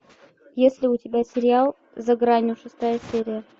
есть ли у тебя сериал за гранью шестая серия